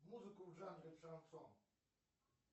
музыку в жанре шансон